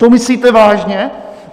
To myslíte vážně?